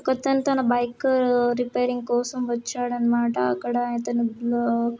ఒక తను తన బైక్ రిపేరింగ్ కోసం వచ్చాడన్నమాట. అక్కడ ఇతను --